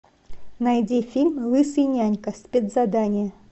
найди фильм лысый нянька спецзадание